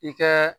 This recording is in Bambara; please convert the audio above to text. I kɛ